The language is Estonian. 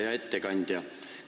Hea ettekandja!